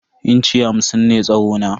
Inci hamsin ne tsawo na.